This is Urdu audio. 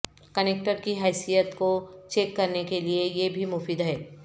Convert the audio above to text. کنیکٹر کی حیثیت کو چیک کرنے کے لئے یہ بھی مفید ہے